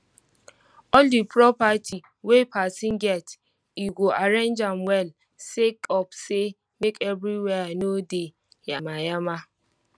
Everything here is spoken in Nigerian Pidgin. all di property wey pesin get e go arrange am well sake of say make everywhere no dey yama yama